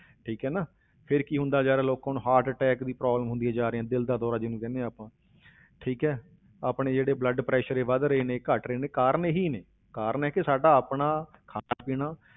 ਠੀਕ ਹੈ ਨਾ, ਫਿਰ ਕੀ ਹੁੰਦਾ ਜਾ ਰਿਹਾ ਲੋਕ ਹੁਣ heart attack ਦੀ problem ਹੁੰਦੀਆਂ ਜਾ ਰਹੀਆਂ, ਦਿਲ ਦਾ ਦੌਰਾ ਜਿਹਨੂੰ ਕਹਿੰਦੇ ਹਾਂ ਆਪਾਂ ਠੀਕ ਹੈ ਆਪਣੇ ਜਿਹੜੇ blood pressure ਇਹ ਵੱਧ ਰਹੇ ਨੇ, ਘੱਟ ਰਹੇ ਨੇ ਕਾਰਨ ਇਹੀ ਨੇ, ਕਾਰਨ ਹੈ ਕਿ ਸਾਡਾ ਆਪਣਾ ਖਾਣਾ ਪੀਣਾ